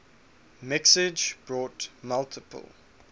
mixage brought multiple